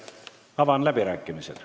Avan läbirääkimised.